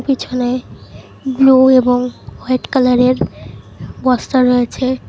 পিছনে ব্লু এবং হোয়াইট কালারের বস্তা রয়েছে।